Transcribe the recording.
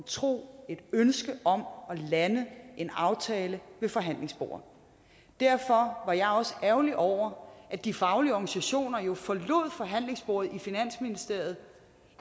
tro et ønske om at lande en aftale ved forhandlingsbordet derfor var jeg også ærgerlig over at de faglige organisationer jo forlod forhandlingsbordet i finansministeriet